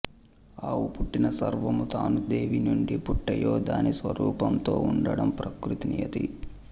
అలా పుట్టిన సర్వమూ తాను దేని నుండి పుట్టాయో దాని స్వరూపంతో ఉండం ప్రకృతినియతి